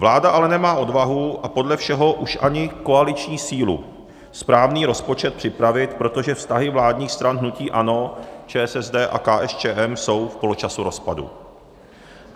Vláda ale nemá odvahu a podle všeho už ani koaliční sílu správný rozpočet připravit, protože vztahy vládních stran hnutí ANO, ČSSD a KSČM jsou v poločasu rozpadu.